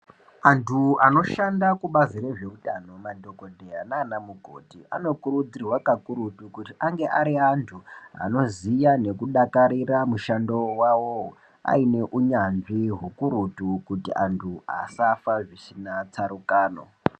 Antu anoshanda kubazi rezveitano madhagodheya nana mukoti anokurudzirwa kakurutu kuti ange ari antu anoziya nekudakarira mushando vavo aine unyanzvi hukurutu. Kuti antu asafa zvisina tsarukano.